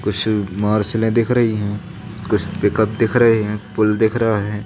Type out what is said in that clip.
कुछ मार्शले दिख रही है कुछ पिकअप दिख रहे हैं पुल दिख रहा है।